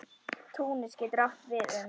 Túnis getur átt við um